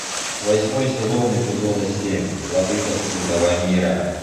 восьмой сезон эпизода семь владыка скрытого мира